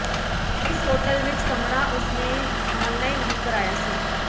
ਇਸ ਹੋਟਲ ਵਿੱਚ ਕਮਰਾ ਉਸ ਨੇ ਆਨਲਾਈਨ ਬੁੱਕ ਕਰਾਇਆ ਸੀ